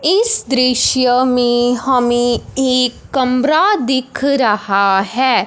इस दृश्य में हमें एक कमरा दिख रहा है।